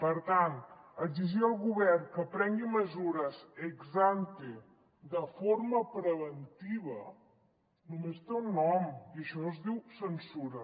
per tant exigir al govern que prengui mesures ex ante de forma preventiva no·més té un nom i això es diu censura